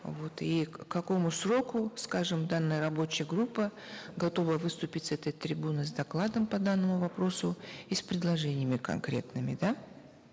вот и к какому сроку скажем данная рабочая группа готова выступить с этой трибуны с докладом по данному вопросу и с предложениями конкретными да